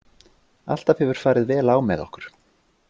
Alltaf hefur farið vel á með okkur.